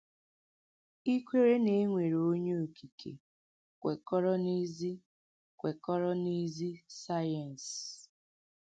Ìkwèrè nà e nwèrè Ònyé Okìkè kwèkọ̀rọ̀ n’èzì kwèkọ̀rọ̀ n’èzì sàyẹ́nsì.